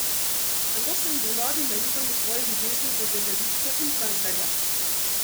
Tako sem bil nor in naiven v svoji ljubezni do gledališča in Cankarja!